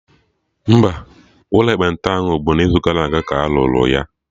Mba, ụlọ ekpenta ahụ bụ n'izugara aga ka arụrụ ya